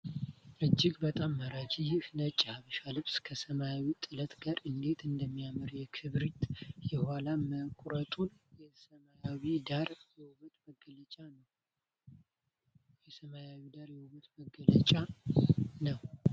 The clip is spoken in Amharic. እጅግ በጣም ማራኪ! ይህ ነጭ የሀበሻ ልብስ ከሰማያዊ ጥለት ጋር እንዴት እንደሚያምር! የክብሪት የኋላ መቁረጡና የሰማያዊው ዳራ የውበት መገለጫ ነው!